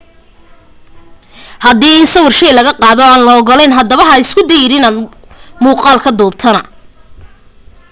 haddii in sawir shay laga qaado aan la ogolayn haddaba haba isku dayin inaad muuqaal ka duubtana